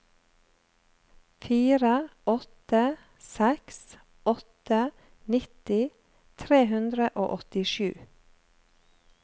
fire åtte seks åtte nitti tre hundre og åttisju